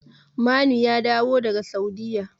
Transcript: Manu ya dawo daga Saudiyya.